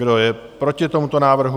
Kdo je proti tomuto návrhu?